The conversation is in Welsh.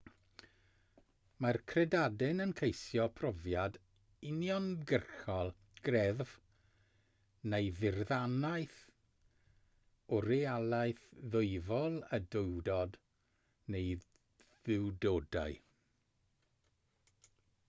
mae'r credadun yn ceisio profiad uniongyrchol greddf neu ddirnadaeth o realaeth ddwyfol/y duwdod neu dduwdodau